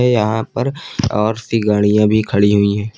यहां पर और सी गाड़ियां भी खड़ी हुई है।